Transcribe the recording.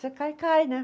Você cai e cai, né?